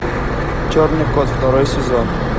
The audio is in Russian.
черный кот второй сезон